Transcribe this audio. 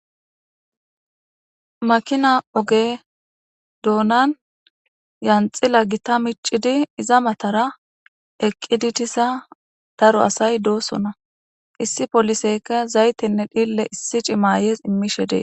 makina oge doonan yanxila gita micidi iza matara eqqidi tisa daro asay doosona issi poliseyka zaytenne dhille issi cimaayes immishe dee